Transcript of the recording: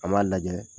An b'a lajɛ